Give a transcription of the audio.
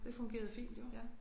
Det fungerede fint jo